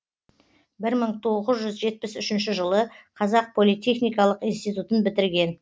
бір мың тоғфз жүз жетпіс үшінші жылы қазақ политехникалық институтын бітірген